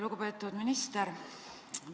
Lugupeetud minister!